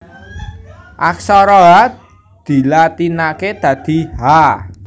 Aksara Ha dilatinaké dadi Ha